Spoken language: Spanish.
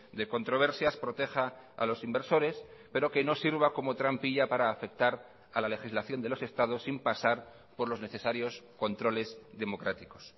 de controversias proteja a los inversores pero que no sirva como trampilla para afectar a la legislación de los estados sin pasar por los necesarios controles democráticos